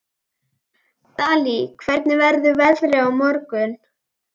Dalí, hvernig verður veðrið á morgun?